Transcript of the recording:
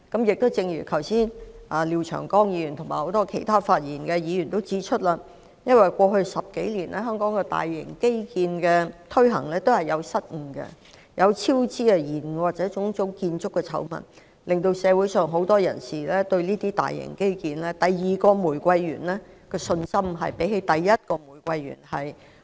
剛才廖長江議員和很多發言的議員都指出，因為在過去10多年，香港推行大型基建都出現失誤、超支、延誤，或者種種建築醜聞，削弱了社會上很多人對這些大型基建的信心，令他們對第二個玫瑰園的信心遠低於第一個玫瑰園。